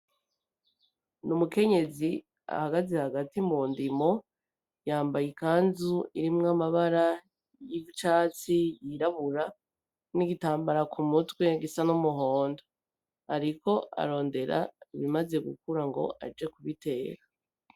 Ni umukenyezi ahagaze hagati mu ndimo, yambaye ikanzu irimwo amabara y'icatsi yirabura n'igitambara ku mutwe gisa n'umuhondo, ariko arondera ibimaze gukura ngo aje kubiteka.